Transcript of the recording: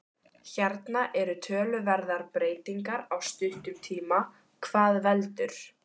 Hérna eru töluverðar breytingar á stuttum tíma, hvað veldur?